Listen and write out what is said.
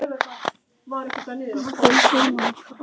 Á kvöldin var oft spilað.